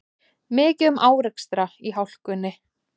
Mikið um árekstra í hálkunni